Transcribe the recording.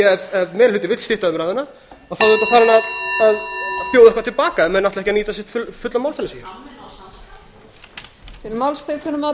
ef meiri hlutinn vill stytta umræðuna að þá auðvitað þarf hann að bjóða eitthvað til baka ef menn ætla ekki að